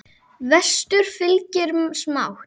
Vestur fylgir smátt.